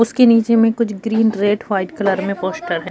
उसके नीचे में कुछ ग्रीन रेड व्हाइट कलर में पोस्टर है।